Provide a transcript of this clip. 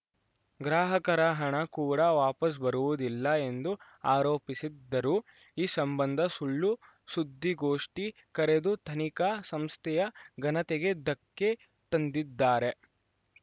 ಗ್ರಾಹಕರ ಹಣ ಕೂಡ ವಾಪಸ್‌ ಬರುವುದಿಲ್ಲ ಎಂದು ಆರೋಪಿಸಿದ್ದರು ಈ ಸಂಬಂಧ ಸುಳ್ಳು ಸುದ್ದಿಗೋಷ್ಠಿ ಕರೆದು ತನಿಖಾ ಸಂಸ್ಥೆಯ ಘನತೆಗೆ ಧಕ್ಕೆ ತಂದಿದ್ದಾರೆ